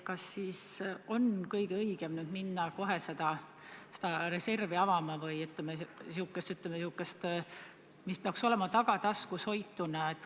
Kas on ikka kõige õigem minna nüüd kohe avama seda reservi, mida peaks hoidma tagataskus?